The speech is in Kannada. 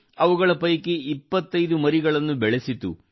ಅವುಗಳ ಪೈಕಿ 25 ಮರಿಗಳನ್ನು ಬೆಳೆಸಿತು